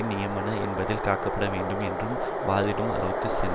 நியாயமானவை என்பதால் காக்கப்பட வேண்டும் என்று வாதிடும் அளவுக்கு சென்றார்